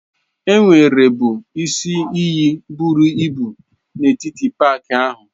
Enwerebu isi iyi buru ibu n'etiti paaki ahụ.